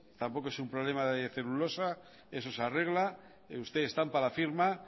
tampoco es un problema de celulosa eso se arregla usted estampa la firma